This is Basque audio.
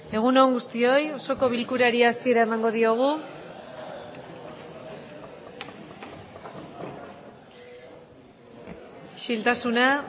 egun on guztioi osoko bilkurari hasiera emango diogu isiltasuna